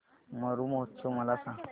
मरु महोत्सव मला सांग